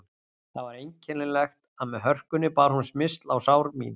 Það var einkennilegt að með hörkunni bar hún smyrsl á sár mín.